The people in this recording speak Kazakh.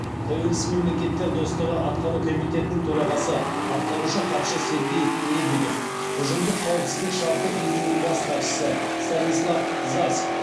тәуелсіз мемлекеттер достастығы атқару комитетінің төрағасы атқарушы хатшысы сергей лебедев ұжымдық қауіпсіздік шарты ұйымының бас хатшысы станислав зась